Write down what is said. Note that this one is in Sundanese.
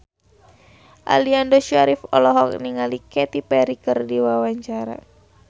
Aliando Syarif olohok ningali Katy Perry keur diwawancara